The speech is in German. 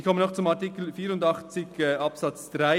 Ich komme noch zu Artikel 84 Absatz 3.